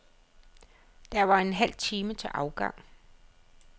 Der var en halv time til afgang.